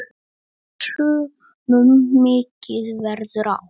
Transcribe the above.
Sumum mikið verður á.